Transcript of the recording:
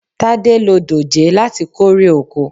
Tádé lo dòjé láti kórè oko.